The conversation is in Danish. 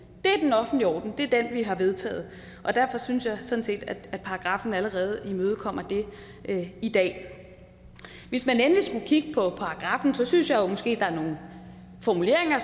det er den offentlige orden og det er den vi har vedtaget derfor synes jeg sådan set at paragraffen allerede imødekommer det i dag hvis man endelig skulle kigge på paragraffen synes jeg måske at der er nogle formuleringer